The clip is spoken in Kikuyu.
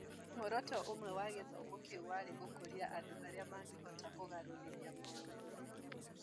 Muoroto ũmwe wa gĩthomo kĩu warĩ gũkũria andũ arĩa mangĩhota kũgarũrĩra maũndũ (kĩonereria kĩa bata).